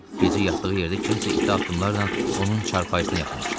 Gecə yatdığı yerdə kimsə ita addımlarla onun çarpayısına yaxınlaşdı.